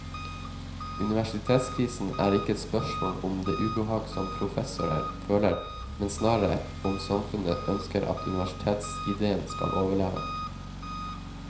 Universitetskrisen er ikke et spørsmål om det ubehag som professorer føler, men snarere om samfunnet ønsker at universitetsidéen skal overleve.